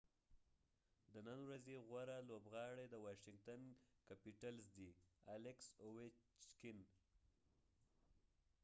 د نن ورځې غوره لوبغاړی د واشنګټن کیپیټلز alex ovechkin دي